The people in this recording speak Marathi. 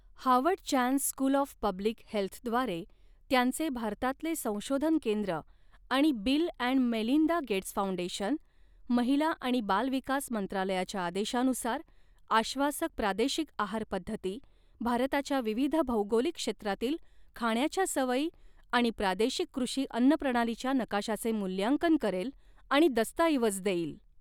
Harvard Chan School of Public हेल्थद्वारे त्यांचे भारतातले संशोधन केंद्र आणि Bill and Melinda Gates Foundation, महिला आणि बाल विकास मंत्रालयाच्या आदेशानुसार, आश्वासक प्रादेशिक आहार पध्दती, भारताच्या विविध भौगोलिक क्षेत्रातील खाण्याच्या सवयी आणि प्रादेशिक कृषी अन्न प्रणालीच्या नकाशाचे मूल्यांकन करेल आणि दस्तऐवज देईल.